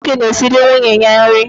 Nwanne m nwoke na-esiri nwunye ya nri.